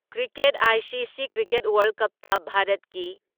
cricket ICC cricket ꯋꯥꯔꯜ ꯀꯞꯇ ꯚꯥꯔꯠꯀꯤ